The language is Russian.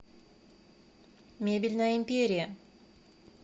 мебельная империя